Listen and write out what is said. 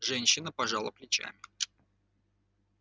женщина пожала плечами